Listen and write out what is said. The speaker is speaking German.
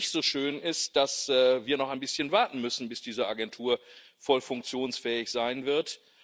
Nicht so schön ist, dass wir noch ein bisschen warten müssen, bis diese Agentur voll funktionsfähig sein wird.